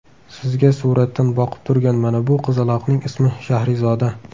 Sizga suratdan boqib turgan mana bu qizaloqning ismi Shahrizoda.